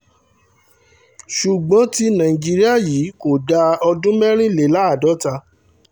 ṣùgbọ́n tí nàìjíríà yìí kò dáa ọdún mẹ́rìnléláàádọ́ta